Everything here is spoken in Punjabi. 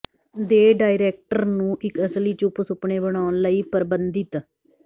ਦੇ ਡਾਇਰੈਕਟਰ ਨੂੰ ਇੱਕ ਅਸਲੀ ਚੁੱਪ ਸੁਪਨੇ ਬਣਾਉਣ ਲਈ ਪਰਬੰਧਿਤ